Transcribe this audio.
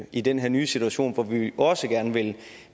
i den her nye situation hvor vi også gerne